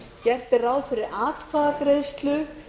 gert er ráð fyrir atkvæðagreiðslu